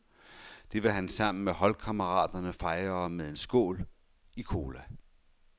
Det vil han sammen holdkammeraterne fejre med en skål, i cola.